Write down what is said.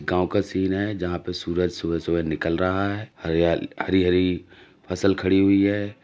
गांव का सीन है जहाँ पर सूरज सुबह सुबह निकल रहा है। हरयाल हरी-हरी फसल खड़ी हुई है।